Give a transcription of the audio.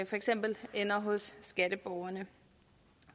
for eksempel ender hos skatteborgerne